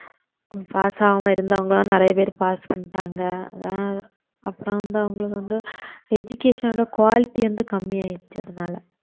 pass ஆகாம இருந்தவங்க எல்லாம் நிறைய பேர் pass பண்ணிட்டாங்க அஹ் அப்புறம் வந்து அவங்களுக்கு வந்து education ஓட quality வந்து கம்மி ஆயிடுச்சு அதனால